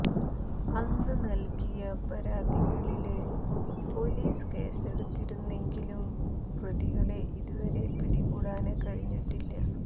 അന്ന് നല്കിയ പരാതികളില് പൊലീസ് കേസെടുത്തിരുന്നെങ്കിലും പ്രതികളെ ഇതുവരെ പിടികൂടാന് കഴിഞ്ഞിട്ടില്ല